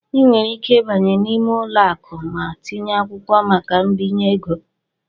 Ị nwere ike ịbanye n'ime ụlọ akụ ma tinye akwụkwọ maka mbinye ego.